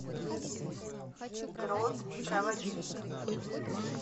грот проводник